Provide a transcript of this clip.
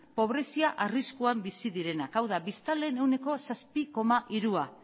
pobrezia arriskuan bizi direnak hau da biztanleen ehuneko zazpi koma hirua